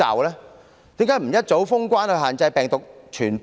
為何不及早封關以限制病毒的傳播？